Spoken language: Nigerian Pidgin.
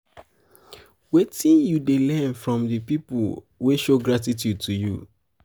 wetin you dey learn from di people wey show gratitude to you?